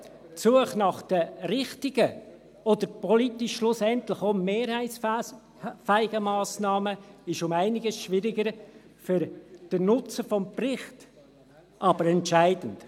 Die Suche nach den richtigen oder politisch schlussendlich auch mehrheitsfähigen Massnahmen ist um einiges schwieriger, für den Nutzen des Berichts aber entscheidend.